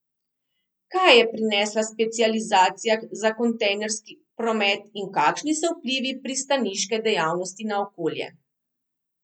Kaj je prinesla specializacija za kontejnerski promet in kakšni so vplivi pristaniške dejavnosti na okolje?